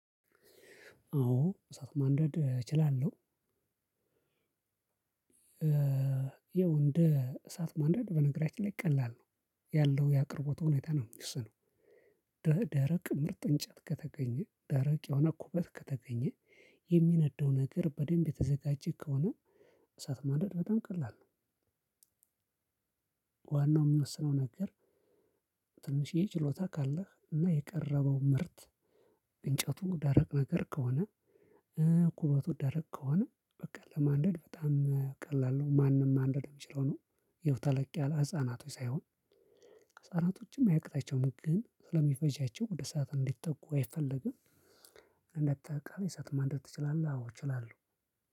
አዎ እሳት ማንደድ እችላለሁ። ይኸው እንደ እሳት ማንደድ በነገራችን ላይ ቀላል ነው ያለው የአቅርቦት ሁኔታ ነው እሱ ነው። ደረቅ ምርጥ እንጨት ከተገኘ ደረቅ የሆነ ኩበት ከተገኘ የሚነደው ነገር በደንብ የተዘጋጀ ከሆነ እሳት ማንደድ በጣም ቀላል ነው። ዋናው የምንወስነው ነገር። ትንሽዬ ችሎታ ካለህ እና የቀረበው ምርት እንጨቱ ደረቅ ነገር ከሆነ። ኩበቱ ደረቅ ከሆነ በቃ ለማንደድ በጣም ቀላል ነው ማንም ማንደድ የሚችለው ነው። ይኸው ተለቅ ያለ ህፃናቶች ሳይሆን ህፃናቶችም አያቅታቸውም ግን ስለሚፈጃቸው ወደ ሰዓት እንዲጠጉ አይፈልግም። እንደ ተጠቃሚ እሳት ማንደድ ትችላለህ? አዎ እችላለሁ።